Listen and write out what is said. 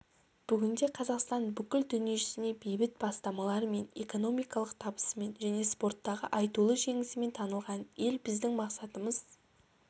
бүгінде қазақстан бүкіл дүниежүзіне бейбіт бастамаларымен экономикалық табысымен және спорттағы айтулы жеңісімен танылған ел біздің мақсатымыз